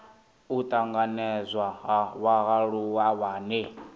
u tanganedzwa ha vhaaluwa vhane